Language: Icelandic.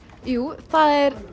jú það er